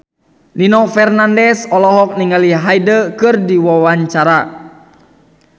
Nino Fernandez olohok ningali Hyde keur diwawancara